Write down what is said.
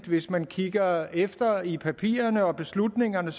hvis man kigger efter i papirerne og beslutningerne